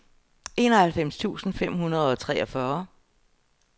enoghalvfems tusind fem hundrede og treogfyrre